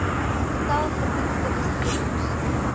getal getoetste bestuurders